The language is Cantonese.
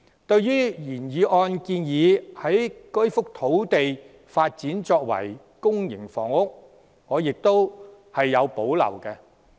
對於原議案建議以該幅用地發展公營房屋，我亦有保留。